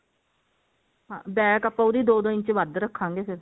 ਹਾਂ back ਆਪਾਂ ਉਹਦੀ ਦੋ ਦੋ ਇੰਚ ਵੱਧ ਰੱਖਾਂਗੇ ਫੇਰ